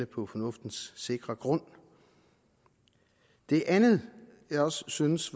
på fornuftens sikre grund det andet jeg også synes